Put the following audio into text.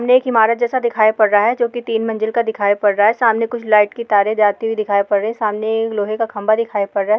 सामने एक इमारत जैसा दिखाई पड़ रहा हैं जी की तीन मंजिल का दिखाई पड़ रहा हैं सामने कुछ लाइट की तारे जाती हुई दिखाई पड़ रही हैं सामने एक लोहे का खंबा दिखाई पड़ रहा हैं।